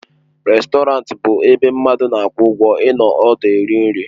Rèstọrantị bụ ebe mmadụ na-akwụ ụgwọ ịnọ ọdụ eri nri.